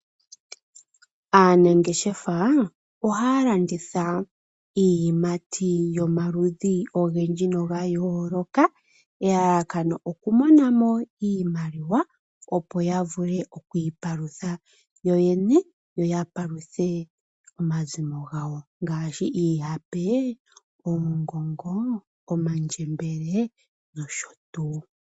Aanangeshefa ohaya landitha iiyimati yomaludhi ogendji noga yooloka. Elalakano oku mona mo iimaliwa opo ya vule okwiipalutha yo yene, yo ya paluthe omazimo gawo. Ngaashi iihape, oongongo, omandjembele nosho tuu.